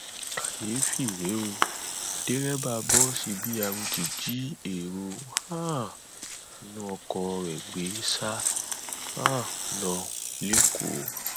kàyééfì rèé ó dereba bọọsì b rt jí èrò um inú ọkọ rẹ gbé sá um lọ lẹkọọ